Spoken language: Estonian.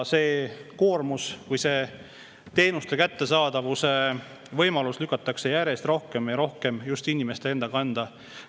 See koormus või see teenuste kättesaamise võimalus lükatakse järjest rohkem ja rohkem inimeste enda kanda.